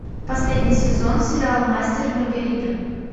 последний сезон сериал мастер и маргарита